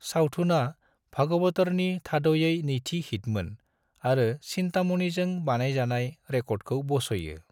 सावथुनआ भागवतरनि थाद'यै नैथि हिटमोन आरो चिन्तामणिजों बानायजानाय रेकर्डखौ बस'यो।